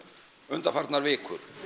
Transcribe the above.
undanfarnar vikur